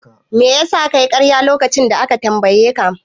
Mai yasa kayi karya lokacin da aka tambaye ka?